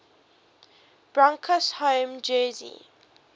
broncos home jersey